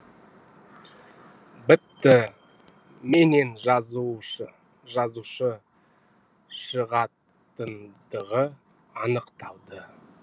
бітті менен жазушы шығатындығы анықталды